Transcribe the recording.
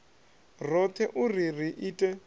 roṱhe u ri ri ite